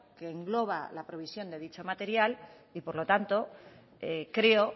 que engloba la previsión de dicho material y por lo tanto creo